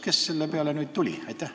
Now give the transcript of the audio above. Kes selle peale nüüd tuli?